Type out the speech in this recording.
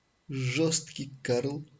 жёсткий карл